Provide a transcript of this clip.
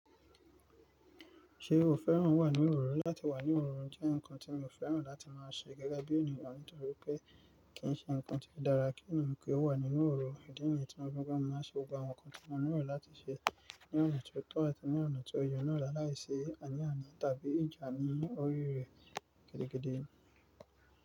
Ṣé o fẹ́ràn wà nínú òróró? Látí wà ní òróró jẹ́ ǹkan tí mi ò fẹ́ràn láti máa ṣe gẹ́gẹ́ bí ènìyàn, nítorí pé kì í ṣe ǹkan tó dára kí ènìyàn pé ó wà nínú òróró. Ìdí nìyí tí mo fi gbodo máa ṣe gbogbo àwọn ǹkan tí mo ni ro láti ṣe ní ọ̀nà tó tọ́ àti ní ọ̀nà tó ye na la láì sí àníyan tàbí ìjà ní orí rẹ̀ gede gede.